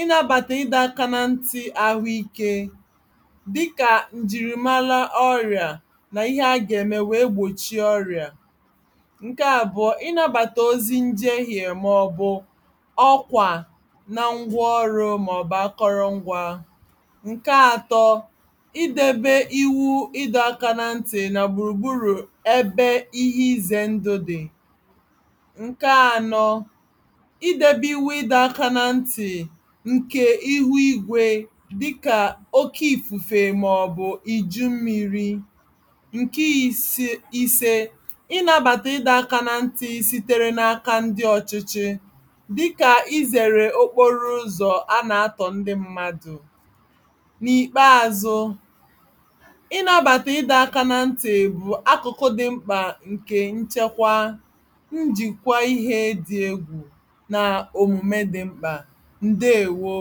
ị nabàtà ịdọ aka na nti àhụike dịkà ǹjìrìmara ọrị̀à n'ihe aga-ème wèe gbòchie ọrị̀à ǹke àbụ̀ọ ị nabàtà ozi njeghe màọbụ̀ ọkwà na ngwaọrụ màọbụ̀ akụrụngwa ǹke atọ idebe iwu ịdọ aka na ntì nà gbùrùgburù ebe ihe izè ndụ dị̀ ǹke anọ idebe iwu ịdọ aka na ntì ǹke ihu igwe dịkà oke ifufe màọbụ̀ iju mmiri ǹke ise ị nabàtà ịdọ aka na nti sitere n'aka ndị ọchịchị dịkà i zèrè okporoụzọ̀ ana-atọ̀ ndị mmadụ n'ikpeazụ ị nabàtà ịdọ aka na nti bụ akụ̀kụ̀ dị mkpà ǹkè nchekwa njikwa ihe dị egwù na òmùme dị mkpà ndeewo